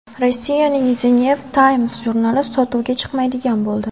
Rossiyaning The New Times jurnali sotuvga chiqmaydigan bo‘ldi.